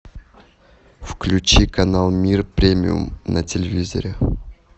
включи канал мир премиум на телевизоре